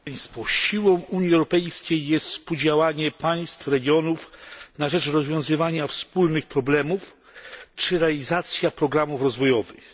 Pani przewodnicząca! Siłą Unii Europejskiej jest współdziałanie państw i regionów na rzecz rozwiązywania wspólnych problemów, a także realizacja programów rozwojowych.